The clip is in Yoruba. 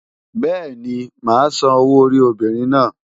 Bẹ́ẹ̀ni, màá san owó orí obìnrin náà.